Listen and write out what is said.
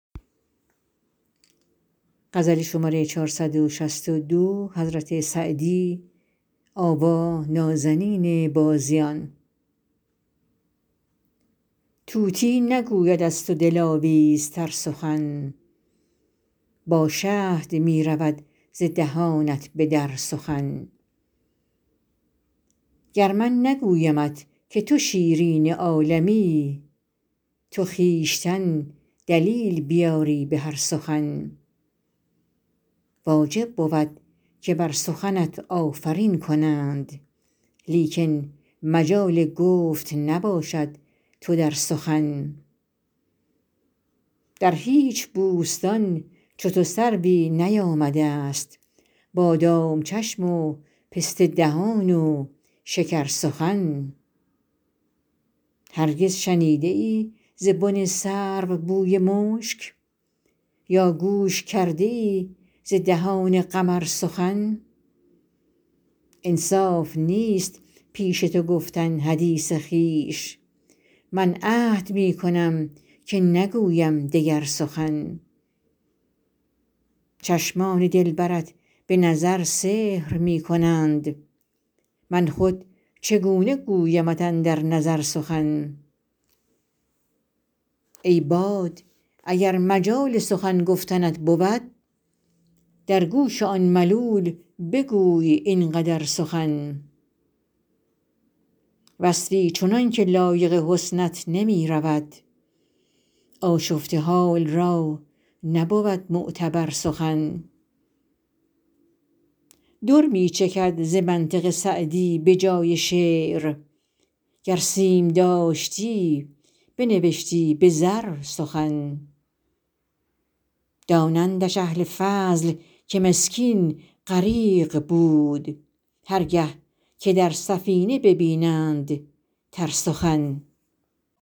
طوطی نگوید از تو دلاویزتر سخن با شهد می رود ز دهانت به در سخن گر من نگویمت که تو شیرین عالمی تو خویشتن دلیل بیاری به هر سخن واجب بود که بر سخنت آفرین کنند لیکن مجال گفت نباشد تو در سخن در هیچ بوستان چو تو سروی نیامده ست بادام چشم و پسته دهان و شکرسخن هرگز شنیده ای ز بن سرو بوی مشک یا گوش کرده ای ز دهان قمر سخن انصاف نیست پیش تو گفتن حدیث خویش من عهد می کنم که نگویم دگر سخن چشمان دلبرت به نظر سحر می کنند من خود چگونه گویمت اندر نظر سخن ای باد اگر مجال سخن گفتنت بود در گوش آن ملول بگوی این قدر سخن وصفی چنان که لایق حسنت نمی رود آشفته حال را نبود معتبر سخن در می چکد ز منطق سعدی به جای شعر گر سیم داشتی بنوشتی به زر سخن دانندش اهل فضل که مسکین غریق بود هر گه که در سفینه ببینند تر سخن